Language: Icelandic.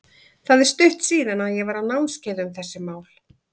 Það er stutt síðan að ég var á námskeiði um þessi mál.